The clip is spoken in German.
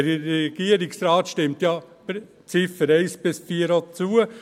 Der Regierungsrat stimmt ja den Ziffern 1 bis 4 auch zu.